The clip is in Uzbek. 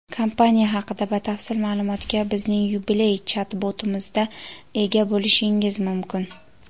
Kompaniya haqida batafsil ma’lumotga bizning yubiley chat-botimizda ega bo‘lishingiz mumkin.